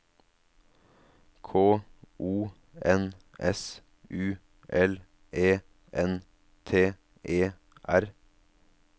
K O N S U L E N T E R